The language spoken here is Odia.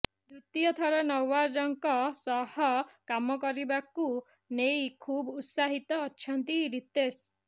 ଦ୍ୱିତୀୟ ଥର ନଓାଜଙ୍କ ସହ କାମ କରିବାକୁ ନେଇ ଖୁବ୍ ଉତ୍ସାହିତ ଅଛନ୍ତି ରିତେଶ